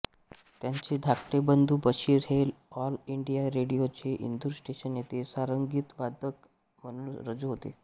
त्यांचे धाकटे बंधू बशीर हे ऑल इंडिया रेडियोच्या इंदूर स्टेशन येथे सारंगीवादक म्हणून रुजू होते